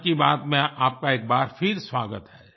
मन की बात में आपका एक बार फिर स्वागत है